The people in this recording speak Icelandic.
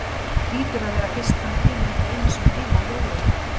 Hlýtur að vera fyrst hann kemur ekki einu sinni heim á jólunum.